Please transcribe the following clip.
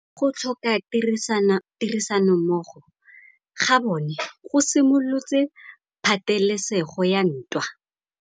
Go tlhoka tirsanommogo ga bone go simolotse patêlêsêgô ya ntwa.